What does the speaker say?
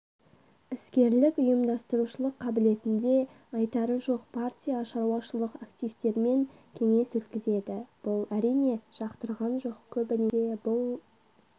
іскерлік ұйымдастырушылық қабілетнде айтары жоқ партия шаруашылық активтермен кеңес өткізеді бұл әрине жақтырған жоқ көбінесе бұл